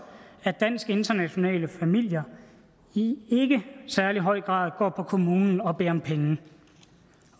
at dansk internationale familier i ikke særlig høj grad går på kommunen og beder om penge